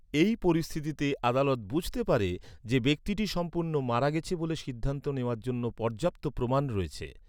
এই পরিস্থিতিতে, আদালত বুঝতে পারে যে, ব্যক্তিটি সম্ভবত মারা গেছে ব’লে সিদ্ধান্ত নেওয়ার জন্য পর্যাপ্ত প্রমাণ রয়েছে।